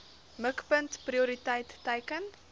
mikpunt prioriteit teiken